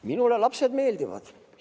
Minule lapsed meeldivad.